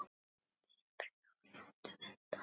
Byrjum frekar á réttum enda.